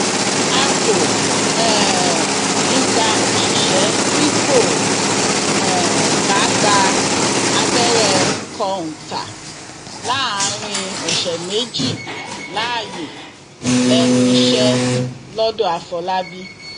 a kò um ní í gba òṣìṣẹ tí kò um bá gba abẹrẹ kọńtà láàrin ọsẹ méjì láàyè lẹnu iṣẹ lọńdọàfọlábí